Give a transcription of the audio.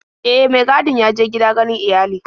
E, mai gadin ya je gida ganin iyali.